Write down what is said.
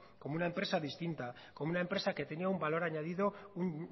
como una empresa distinta como una empresa que tenía un valor añadido un